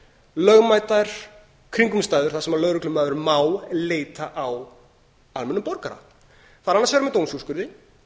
lögmætar kringumstæður þar sem lögreglumaður má leita á almennum borgara það er annars vegar með dómsúrskurði